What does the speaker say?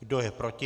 Kdo je proti?